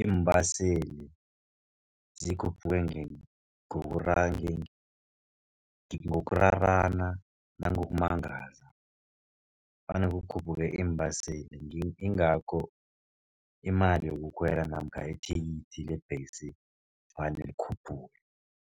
iimbaseli, zikhuphuke ngokurarana nangokumangaza, vane kukhuphuke iimbaseli, yingakho imali yokukhwela namkha ithikithi lebhesi vane likhuphuke.